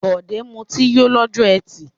Bọ̀dé mutí yó lọ́jọ́ ẹtì.